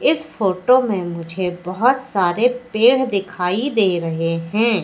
इस फोटो में मुझे बहोत सारे पेड़ दिखाई दे रहे हैं।